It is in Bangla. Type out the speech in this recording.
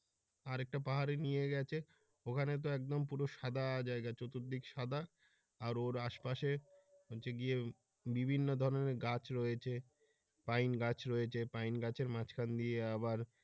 আর একটা পাহাড়ে নিয়ে গেছে ওখানে তো একদম পুরো সাদা জায়গা চতুর্দিক সাদা আর ওর আশপাশে হচ্ছে গিয়ে বিভিন্ন ধরনের গাছ রয়েছে পাইন গাছ রয়েছে পাইন গাছের মাঝ খান দিয়ে আবার।